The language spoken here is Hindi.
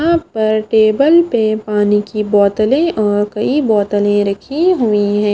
यहां पर टेबल पे पानी की बोतले और कई बोतले रखी हुई है।